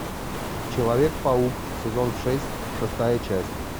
человек паук сезон шесть шестая часть